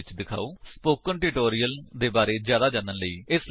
spoken tutorial ਦੇ ਬਾਰੇ ਵਿੱਚ ਜਿਆਦਾ ਜਾਣਨ ਲਈ ਇਸ ਲਿੰਕ ਉੱਤੇ ਉਪਲੱਬਧ ਵਿਡਯੋ ਵੇਖੋ